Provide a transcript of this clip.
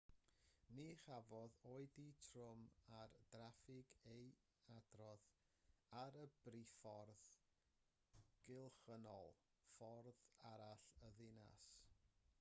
ni chafodd oedi trwm ar draffig ei adrodd ar y briffordd gylchynnol ffordd arall y ddinas